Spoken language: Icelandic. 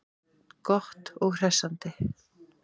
Gott og hressandi.